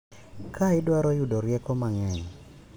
Ka idwaro yudo rieko mang'eny.